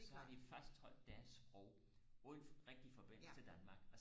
og så har de faktisk trådt deres sprog ud rigtig forbindelse til Danmark